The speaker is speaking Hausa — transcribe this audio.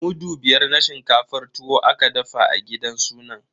Mudu biyar na shinkafar tuwo aka dafa a gidan sunan.